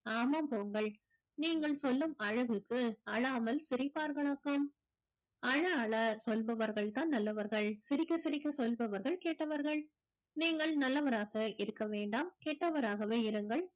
ஆமாம் போங்கள் நீங்கள் சொல்லும் அழகுக்கு அழாமல் சிரித்தார்களாக்கும் அழ அழ சொல்பவர்கள்தான் நல்லவர்கள் சிரிக்க சிரிக்க சொல்பவர்கள் கெட்டவர்கள் நீங்கள் நல்லவராக இருக்க வேண்டாம் கெட்டவராகவே இருங்கள்